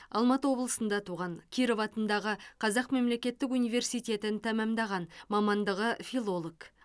алматы облысында туған киров атындағы қазақ мемлекеттік университетін тәмамдаған мамандығы филолог